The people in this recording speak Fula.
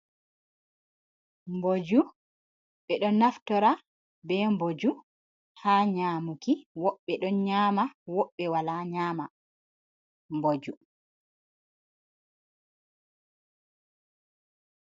Boju be do naftora be boju ha nyamuki ,wobbe don nyama wobbe wala nyama boju.